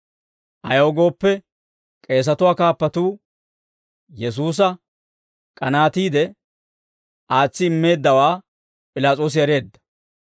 Ayaw gooppe, k'eesatuwaa kaappatuu Yesuusa k'anaatiide aatsi immeeddawaa P'ilaas'oosi ereedda.